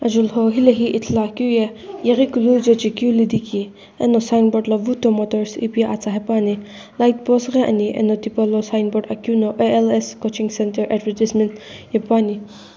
julhou hilehi Ithuluakeu ye yeghikulu jechekeu lidhiki eno signboard lo vuto motors ipi atsa hepuani lightpost ghi ani eno tipaulo signboard akeu no A_L_S coaching centre advertisement hepuani.